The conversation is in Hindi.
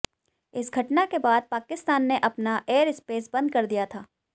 इस घटना के बाद पाकिस्तान ने अपना एयरस्पेस बंद कर दिया था